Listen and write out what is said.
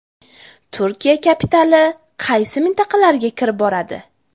Turkiya kapitali qaysi mintaqalarga kirib boradi?